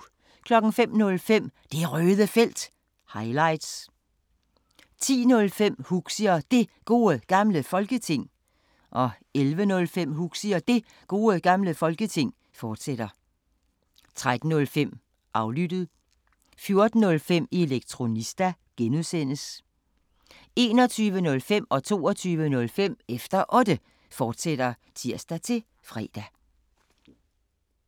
05:05: Det Røde Felt – highlights 10:05: Huxi og Det Gode Gamle Folketing 11:05: Huxi og Det Gode Gamle Folketing, fortsat 13:05: Aflyttet (G) 14:05: Elektronista (G) 21:05: Efter Otte, fortsat (tir-fre) 22:05: Efter Otte, fortsat (tir-fre)